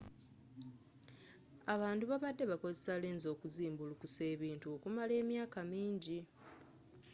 abantu babadde bakozesa lenzi okuzimbulukusa ebintu okumala emyaka mingi